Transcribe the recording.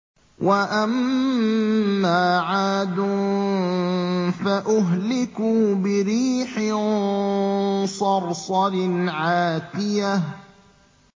وَأَمَّا عَادٌ فَأُهْلِكُوا بِرِيحٍ صَرْصَرٍ عَاتِيَةٍ